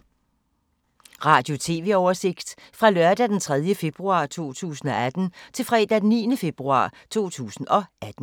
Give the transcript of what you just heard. Radio/TV oversigt fra lørdag d. 3. februar 2018 til fredag d. 9. februar 2018